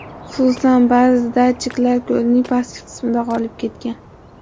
Xususan, ba’zi datchiklar ko‘lning pastki qismida qolib ketgan.